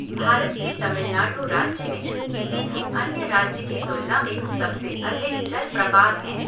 भारत के तमिलनाडु राज्य में किसी भी अन्य राज्य की तुलना में सबसे अधिक जलप्रपात हैं।